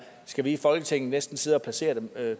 skal vi i folketinget næsten sidde og placere dem